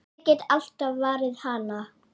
Ég get alltaf varið hana!